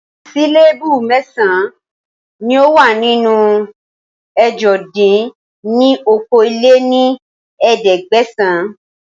Síléébù mẹ́san ni ó wà nínú ẹ̀jọ dín ní okòó-lé-ní-ẹ̀ẹ́dẹ́gbẹ́sán